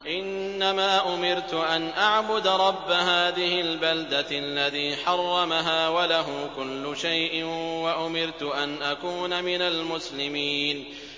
إِنَّمَا أُمِرْتُ أَنْ أَعْبُدَ رَبَّ هَٰذِهِ الْبَلْدَةِ الَّذِي حَرَّمَهَا وَلَهُ كُلُّ شَيْءٍ ۖ وَأُمِرْتُ أَنْ أَكُونَ مِنَ الْمُسْلِمِينَ